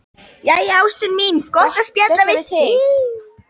Jæja, ástin mín, gott að spjalla við þig.